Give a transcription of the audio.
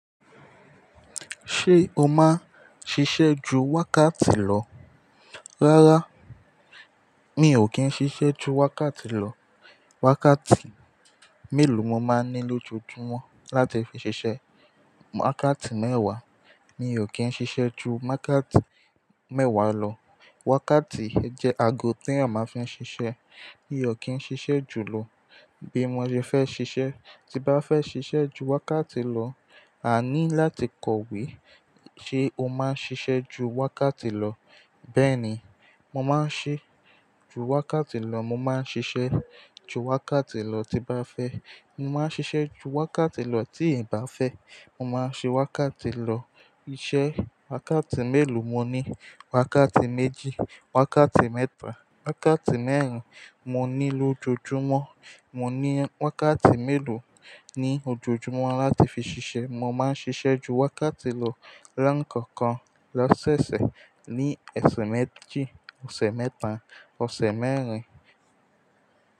Ṣé o máa ń ṣiṣẹ́ ju wákàtí lọ? Rárá, mi ò kí ń ṣiṣẹ́ ju wákàtí lọ. Wákàtí mélòó mo máa ń ní lójoojúmọ́ láti fi ṣiṣẹ́? Wákàtí mẹ́wàá. Mi ò kí ń ṣiṣẹ́ ju wákàtí mẹ́wàá lọ. Wákàtí jẹ́ aago tí a máa ń fi ń ṣiṣẹ́. Mi ò kí ń ṣiṣẹ́ jù lọ bí mo ṣe fẹ́ ṣiṣẹ́. Ti bá fẹ́ ṣiṣẹ́ ju wákàtí lọ, a ní láti kọ̀wé. Ṣé o máa ń ṣiṣẹ́ ju wákàtí lọ? Bẹ́ẹ̀ ni, mo máa ń ṣe ju wákàtí lọ. Mo máa ń ṣiṣẹ́ ju wákàtí lọ tí bá fẹ́. Mo máa ń ṣiṣẹ́ ju wákàtí lọ tí ì bá fẹ́. Mo máa ń ṣe wákàtí lọ. Iṣẹ́ wákàtí mélòó mo ní? Wákàtí méjì, wákàtí mẹ́ta, wákàtí mẹ́rin mo ní lójoojúmọ́. Mo ní wákàtí mélòó ní ojoojúmọ́ láti fi ṣiṣẹ́. Mo máa ń ṣiṣẹ́ ju wákàtí lọ rán kankan, lọ́sẹ̀ẹ̀sẹ̀, ní ọ̀sẹ̀ méjì, ọ̀sẹ̀ mẹ́ta, ọ̀sẹ̀ mẹ́rin.